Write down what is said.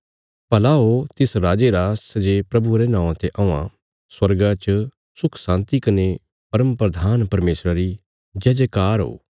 भला हो तिस राजे रा सै जे प्रभुये रे नौआं ते औआं स्वर्गा च सुख शान्ति कने परमप्रधान परमेशरा री जयजयकार ओ